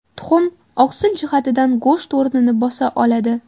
Tuxum oqsil jihatidan go‘sht o‘rnini bosa oladi.